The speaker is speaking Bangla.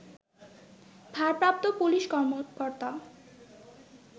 ভারপ্রাপ্ত পুলিশ কর্মকর্তা